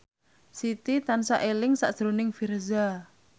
Siti tansah eling sakjroning Virzha